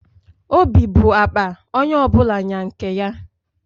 Obi bụ akpa, onye ọ bụla nya nke ya